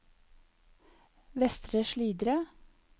Vestre Slidre